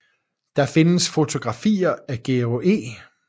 Der findes fotografier af Georg E